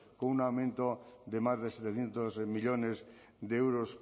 con un aumento de más de setecientos millónes de euros